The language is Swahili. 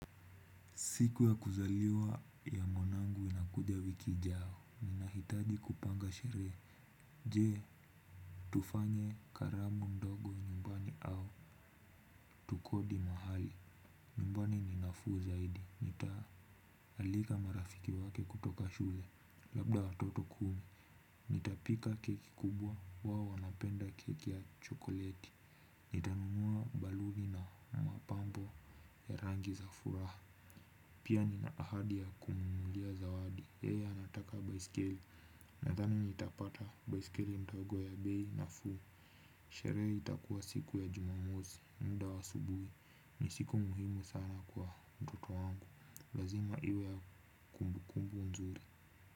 Siku ya kuzaliwa ya mwanangu inakuja wiki ijao, ninahitaji kupanga sherehe, je, tufanye karamu ndogo nyumbani au tukodi mahali nyumbani ni nafuu zaidi nitaalika marafiki wake kutoka shule labda watoto kumi. Nitapika keki kubwa wao wanapenda keki ya chokoleti nitanunua baluni na mapambo ya rangi za furaha. Pia nina ahadi ya kumnunulia zawadi yeye anataka baiskeli nadhani nitapata baiskeli ndogo ya bei nafuu. Sherehe itakuwa siku ya jumamosi muda wa asubuhi ni siku muhimu sana kwa mtoto wangu, lazima iwe ya kumbukumbu nzuri.